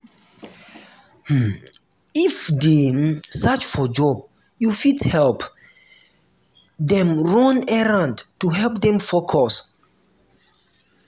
um if dem dey um search for job you fit help dem run errand to help them focus